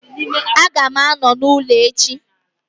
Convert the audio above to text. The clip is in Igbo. Aga m anọ n'ụlọ echi